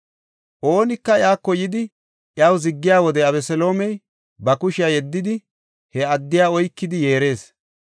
Oonika iyako yidi iyaw ziggiya wode Abeseloomey ba kushiya yeddidi he addiya oykidi yeerees.